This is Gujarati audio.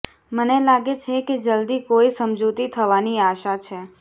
મને લાગે છે કે જલ્દી કોઈ સમજૂતી થવાની આશા છે